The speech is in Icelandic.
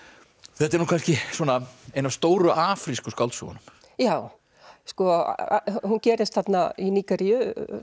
þetta er nú kannski svona ein af stóru afrísku skáldsögunum já sko hún gerist þarna í Nígeríu